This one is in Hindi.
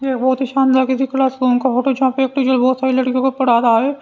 ये बहोत ही शानदार किसी क्लास रूम का फोटो है जहां पे एक टीचर बहोत सारी लड़कियों को पढ़ा रहा है।